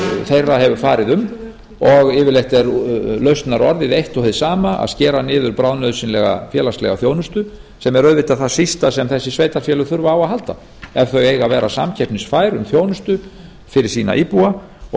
þeirra hefur farið um og yfirleitt er lausnarorðið eitt og hið sama að skera niður bráðnauðsynlega félagslega þjónustu sem er auðvitað það sísta sem þessi sveitarfélög þurfa á að að halda ef þau eiga að vera samkeppnisfær um þjónustu fyrir sína íbúa og